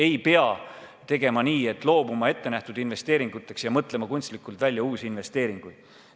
Ei pea loobuma ettenähtud investeeringutest ja mõtlema kunstlikult välja uusi investeeringuid.